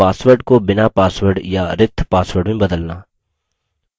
password को बिना password या रिक्त password में बदलना